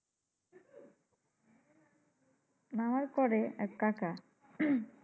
না আমার করে এক কাকা।